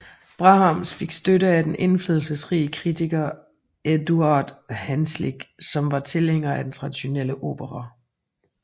Brahms fik støtte af den indflydelsesrige kritiker Eduard Hanslick som var tilhænger af den traditionelle opera